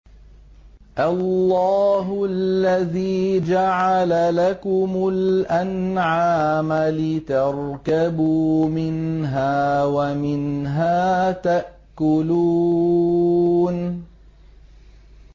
اللَّهُ الَّذِي جَعَلَ لَكُمُ الْأَنْعَامَ لِتَرْكَبُوا مِنْهَا وَمِنْهَا تَأْكُلُونَ